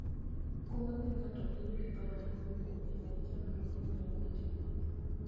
okumba miyo ng'ato bedo gi paro mokuwe kuom geng'one chandruoge manyalo betie e wuoth.